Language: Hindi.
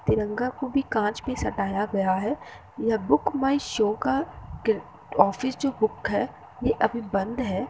तिरंगा को भी काँच में सटाया गया है। यह बुक माय शो का किर ऑफिस जो बुक है। ये अभी बंद है।